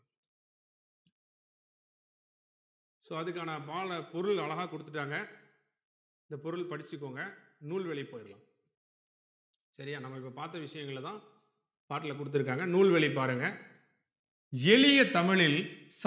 so அதுக்கான பால பொருள் அழகா கொடுத்துட்டாங்க இந்த பொருள் படிச்சிக்கோங்க நூல் வழி போயிறலாம்சரியா நம்ம இப்ப பாத்தா விஷயங்களதான் பாட்ல கொடுத்துருக்காங்க நூல் வழி பாருங்க எளிய தமிழில்